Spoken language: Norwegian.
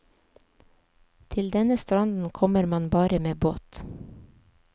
Til denne stranden kommer man bare med båt.